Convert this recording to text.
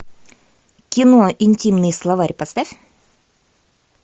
кино интимный словарь поставь